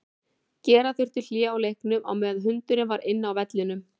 Gera þurfti hlé á leiknum á meðan hundurinn var inn á vellinum.